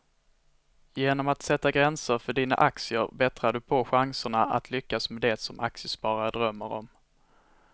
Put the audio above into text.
Genom att sätta gränser för dina aktier bättrar du på chanserna att lyckas med det som aktiesparare drömmer om.